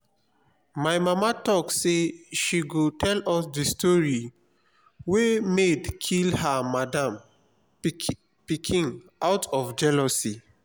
my mama talk say she go tell us the story where maid kill her madam pikin out of jealousy